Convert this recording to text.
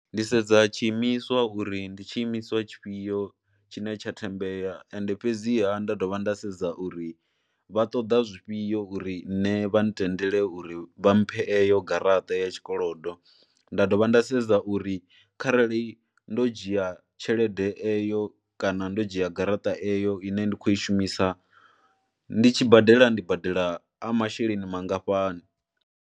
Ndi sedza tshiimiswa uri ndi tshiimiswa tshifhio tshine tsha thembela ende fhedziha nda dovha nda sedza uri vha ṱoḓa zwifhio uri nṋe vha ntendele uri vha mphe eyo garaṱa ya tshikolodo. Nda dovha nda sedza uri kharali ndo dzhia tshelede eyo kana ndo dzhia garaṱa eyo ine ndi khou i shumisa ndi tshi badela ndi badela a masheleni mangafhani.